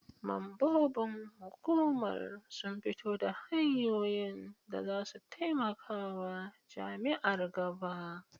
Mambobin hukumar sun fito da hanyoyin da za su taimaka wa jami'ar gaba.